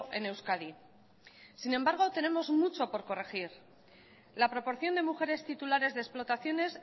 en euskadi sin embargo tenemos mucho por corregir la proporción de mujeres titulares de explotaciones